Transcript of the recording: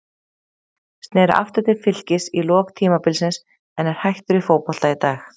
Sneri aftur til Fylkis í lok tímabilsins en er hættur í fótbolta í dag.